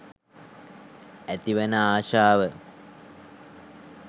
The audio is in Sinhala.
ඇති වන ආශාව